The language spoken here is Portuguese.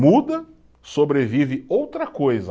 Muda, sobrevive outra coisa.